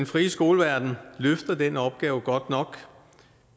frie skoleverden løfter den opgave godt nok